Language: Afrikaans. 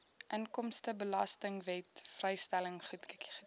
inkomstebelastingwet vrystelling goedgekeur